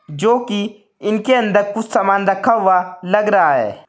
जो कि इनके अंदर कुछ सामान रखा हुआ लग रहा है।